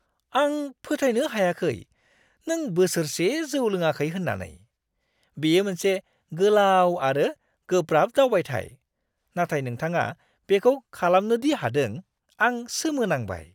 आं फोथायनो हायाखै नों बोसोरसे जौ लोङाखै होन्नानै! बेयो मोनसे गोलाव आरो गोब्राब दावबायथाय, नाथाय नोंथाङा बेखौ खालामनो दि हादों, आं सोमो नांबाय!